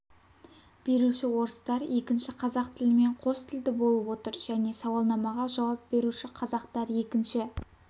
беруші орыстар екінші қазақ тілімен қос тілді болып отыр және сауалнамаға жауап беруші қазақтар екінші